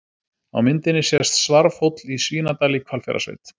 Á myndinni sést Svarfhóll í Svínadal í Hvalfjarðarsveit.